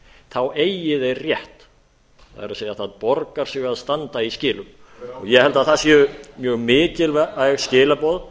þá eigi þeir rétt það er það borgar sig að standa í skilum ég held að það séu mjög mikilvæg skilaboð